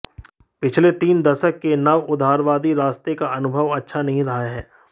पिछले तीन दशक के नवउदारवादी रास्ते का अनुभव अच्छा नहीं रहा है